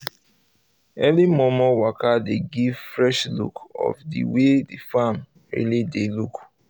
early momo waka dey give fresh look of the way the farm really dey look